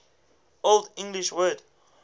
old english word